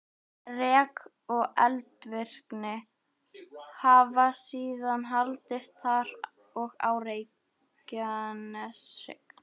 Rek og eldvirkni hafa síðan haldist þar og á Reykjaneshrygg.